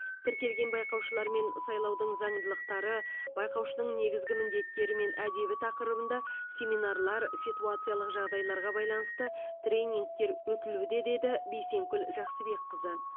тіркелген байқаушылармен сайлаудың заңдылықтары байқаушының негізгі міндеттері мен әдебі тақырыбында семинарлар ситуациялық жағдайларға байланысты тренингтер өтілуде деді бейсенкүл жақсыбекқызы